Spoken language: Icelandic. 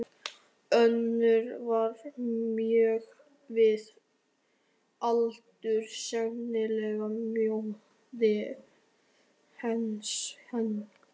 Önnur var mjög við aldur, sennilega móðir hins hengda.